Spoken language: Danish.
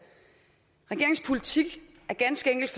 regeringens politik er ganske enkelt